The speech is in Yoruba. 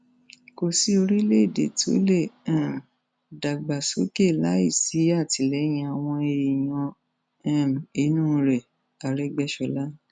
kò sí orílẹèdè tó lè um dàgbàsókè láì sí àtìlẹyìn àwọn èèyàn um inú rẹ árégbéṣọlá